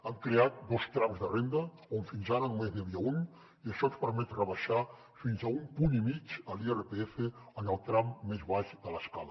hem creat dos trams de renda on fins ara només n’hi havia un i això ens permet rebaixar fins a un punt i mig l’irpf en el tram més baix de l’escala